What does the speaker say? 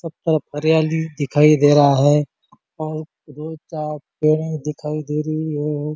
सब तरफ हरयाली दिखाई दे रहा है और दो-चार पेड़े दिखाई दे रही है और--